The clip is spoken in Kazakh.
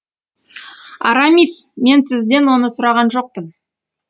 арамис мен сізден оны сұраған жоқпын